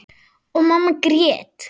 Og mamma grét.